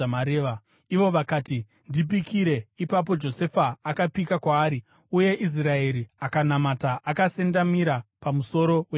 Ivo vakati, “Ndipikire.” Ipapo Josefa akapika kwaari, uye Israeri akanamata akasendamira pamusoro wetsvimbo yake.